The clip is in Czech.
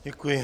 Děkuji.